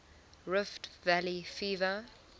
rift valley fever